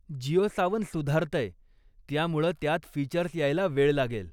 जिओ सावन सुधारतंय, त्यामुळं त्यात फीचर्स यायला वेळ लागेल.